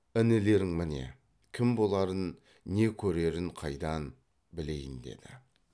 інілерің міне кім боларын не көрерін қайдан білейін деді